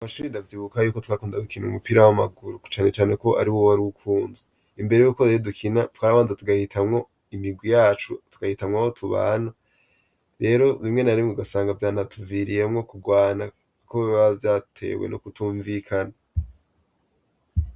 Amashibi davyibuka yuko twakunda gukina umupira w'amaguru kucanecane ko ari wowe ari ukunze imbere yuko reho dukina twarabanza tugahitamwo imigwi yacu tugahitamwa ho tubana rero bimwe narimwe gasanga vyane atuviriyemwo kurwana, kuko bibaa vyatewe no kutumvikana.